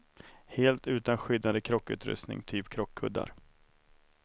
Helt utan skyddande krockutrustning, typ krockkuddar.